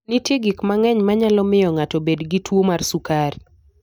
Nitie gik mang'eny manyalo miyo ng'ato obed gi tuwo mar sukari.